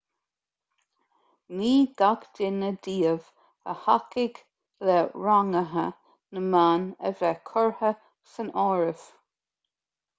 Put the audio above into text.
ní gach duine díobh a thacaigh le ranguithe na mban a bheith curtha san áireamh